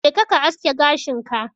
Jeka ka aske gashin ka.